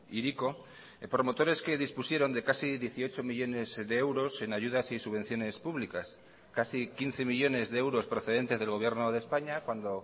hiriko promotores que dispusieron de casi dieciocho millónes de euros en ayudas y subvenciones públicas casi quince millónes de euros procedentes del gobierno de españa cuando